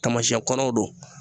Taamasiyɛn kɔrɔw don